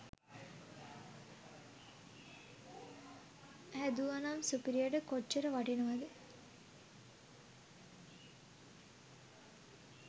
හැදුවනම් සුපිරියට කොච්චර වටිනවද.